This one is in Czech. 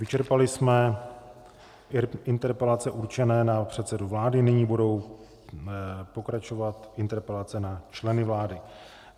Vyčerpali jsme interpelace učené na předsedu vlády, nyní budou pokračovat interpelace na členy vlády.